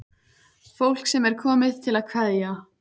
Fólk sem er komið til að kveðja.